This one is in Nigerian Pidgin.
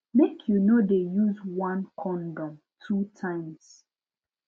make you no de use one condom two times